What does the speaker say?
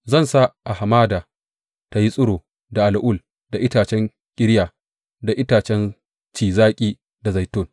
Zan sa a hamada ta tsiro da al’ul da itacen ƙirya, da itacen ci zaƙi, da zaitun.